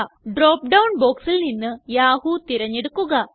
drop down ബോക്സിൽ നിന്ന് Yahoo തിരഞ്ഞെടുക്കുക